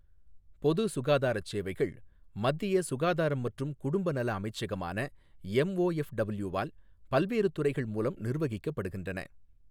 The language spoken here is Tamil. பொது சுகாதாரச் சேவைகள், மத்திய சுகாதாரம் மற்றும் குடும்ப நல அமைச்சகமான எம்ஓ எஃப் டபுள்யூ வால் பல்வேறு துறைகள் மூலம் நிர்வகிக்கப்படுகின்றன.